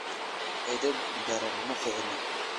edeb daran ma fiicna